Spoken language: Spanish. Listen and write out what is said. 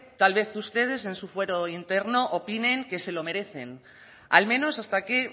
tal vez ustedes en su fuero interno opinen que se lo merecen al menos hasta que